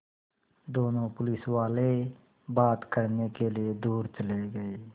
दोनों पुलिसवाले बात करने के लिए दूर चले गए